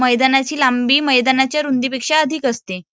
मैदानाची लांबी मैदानाच्या रुंदीपेक्षा अधिक असते.